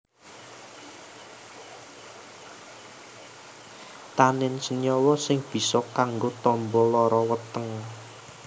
Tanin senyawa sing bisa kanggo tamba lara weteng